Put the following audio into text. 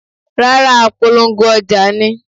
Rárá, apolongo ọjà ni.